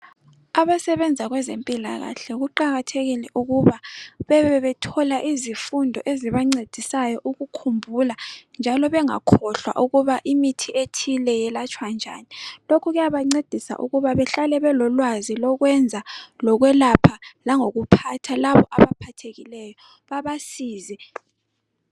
abasebenza kwezempilakahle kuqakathekile ukuba bebethola izifundo ezibancedisayo ukukhumbula njalo bengakhohlwa ukuba imithi ethile yelatshwa njani lokhu kuyabancedisa ukuba behlale belolwazi lokwenza lokwelapha langokuphatha laba abaphathekileyo babsize